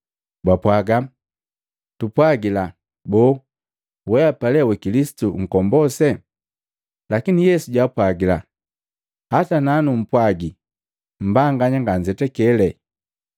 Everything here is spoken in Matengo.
Bapwaaga, “Tupwagila! Boo, weapa lee wa Kilisitu Nkombose?” Lakini Yesu jaapwajila, “Hata nanumpwagi, mbanganya nganzetakele,